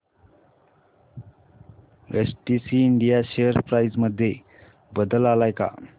STC India share price मध्ये बदल आलाय का